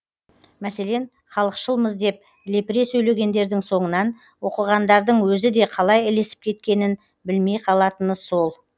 мәселен халықшылмыз деп лепіре сөйлегендердің соңынан оқығандардың өзі де қалай ілесіп кеткенін білмей қалатыны сол